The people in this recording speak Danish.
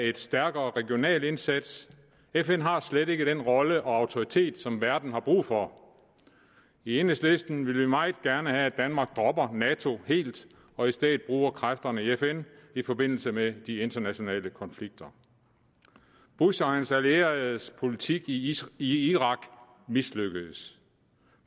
en stærkere regional indsats fn har slet ikke den rolle og autoritet som verden har brug for i enhedslisten vil vi meget gerne have at danmark helt dropper nato og i stedet bruger kræfterne i fn i forbindelse med de internationale konflikter bush og hans allieredes politik i irak mislykkedes